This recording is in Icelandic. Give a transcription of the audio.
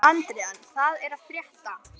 Andrean, hvað er að frétta?